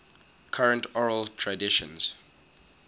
current oral traditions